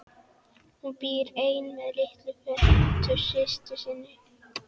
Hún býr ein með litlu feitu systur minni.